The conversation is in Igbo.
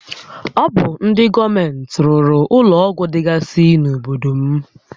Ọ bụ ndị gọọmenti rụrụ ụlọ ọgwụ dịgasị n'obodo m